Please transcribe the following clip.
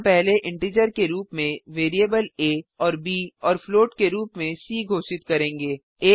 हम पहले इंटीजर के रूप में वैरिएबल आ और ब और फ्लोट के रूप में सी घोषित करेंगे